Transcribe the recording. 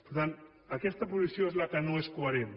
per tant aquesta posició és la que no és coherent